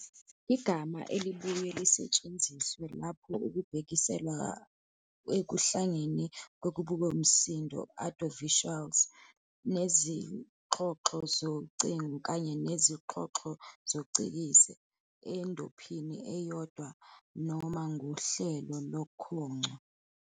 igama elibuye lisetshenziswe lapho kubhekiselwa ekuhlanganeni kwemibukomsindo "audiovisuals" nezixhoxho zocingo kanye nezixhoxho zesicikizi endophini eyodwa noma ngohlelo lokhongco.